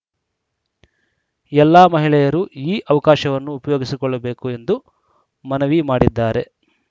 ಎಲ್ಲ ಮಹಿಳೆಯರು ಈ ಅವಕಾಶವನ್ನು ಉಪಯೋಗಿಸಿಕೊಳ್ಳಬೇಕು ಎಂದು ಮನವಿ ಮಾಡಿದ್ದಾರೆ